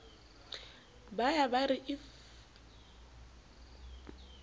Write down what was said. ba ya ba re if